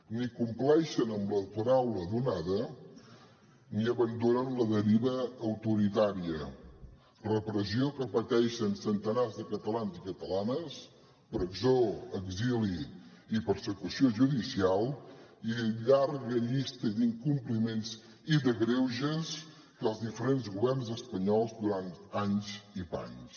ni compleixen amb la paraula donada ni abandonen la deriva autoritària repressió que pateixen centenars de catalans i catalanes presó exili i persecució judicial i una llarga llista d’incompliments i de greuges que els diferents governs espanyols durant anys i panys